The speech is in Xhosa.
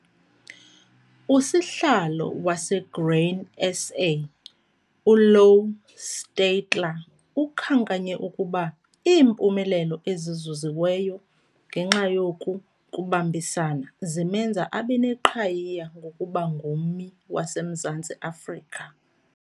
USihlalo waseGrain SA, uLouw Steytler, ukhankanye ukuba iimpumelelo ezizuziweyo ngenxa yoku kubambisana zimenza abe neqhayiya ngokuba ngummi waseMzantsi Afrika.